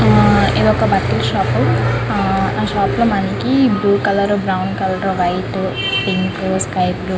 ఇది ఒక బట్టల షాప్ . అందులో మనకి blue colour brown colour white colour pink sky blue --